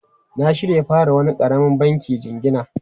Na shirya fara wani karamin banki jingina.